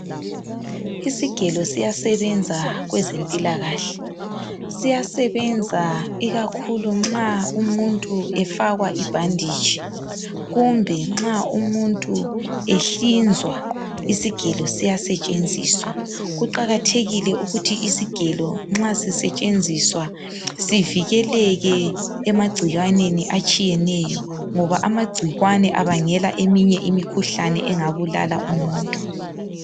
Isigelo siyasebenza kwezempilakahle siyasebenza ikakhulu umuntu nxa efakwa ibhanditshi. Kumbe nxa umuntu ehlinzwa isigelo siyasetshenziswa. Kuqakathekile ukuthi isigelo nxa sisetshenziswa sivikeleke emagcikwaneni atshiyeneyo ngoba amagcikwane abangela eminye imikhuhlane engabulala umuntu.